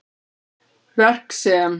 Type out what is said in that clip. Verk sem